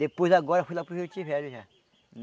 Depois, agora, foi lá para o rio já.